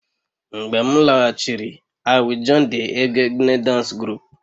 Mgbe m laghachiri, I will join the egegne dance group